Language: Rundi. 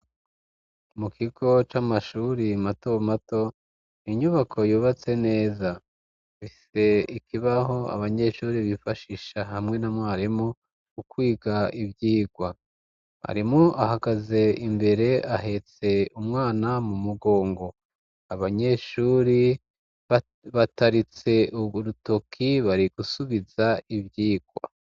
Mu kigo c'amashuri mato mato, inyubako yubatse neza. Ifise ikibaho abanyeshuri bifashisha hamwe na mwarimu ukwiga ivyigwa. Mwarimu ahagaze imbere ahetse umwana mu mugongo, abanyeshuri bataritse urutoki bari gusubiza ivyigwa.